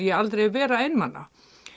ég aldrei vera einmana